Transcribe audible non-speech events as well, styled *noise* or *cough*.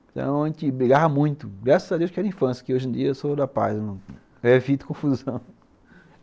Então a gente brigava muito, graças a Deus que era infância, que hoje em dia eu sou da paz, eu evito confusão *laughs*